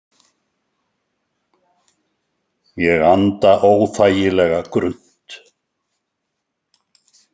Ég anda óþægilega grunnt.